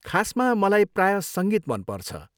खासमा, मलाई प्रायः सङ्गीत मनपर्छ।